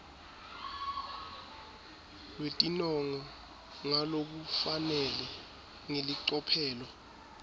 lwetinongo ngalokufanele ngelicophelo